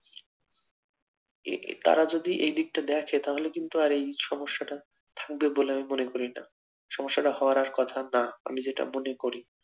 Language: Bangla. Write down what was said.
এটা তারা যদি এই দিকটা দেখে তাহলে কিন্তু আর এই সমস্যাটা থাকবে বলে আমি মনে করি না সমস্যাটা হওয়ার আর কথা নয় আমি যেটা মনে করি